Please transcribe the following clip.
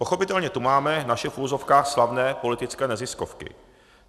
Pochopitelně tu máme naše v uvozovkách slavné politické neziskovky.